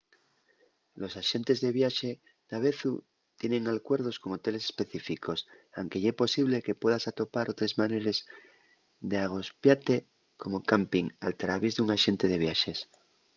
los axentes de viaxe davezu tienen alcuerdos con hoteles específicos anque ye posible que puedas atopar otres maneres d’agospiate como campin al traviés d’un axente de viaxes